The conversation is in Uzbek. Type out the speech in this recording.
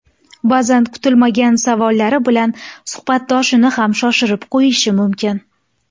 Ba’zan kutilmagan savollari bilan suhbatdoshini ham shoshirib qo‘yishi mumkin.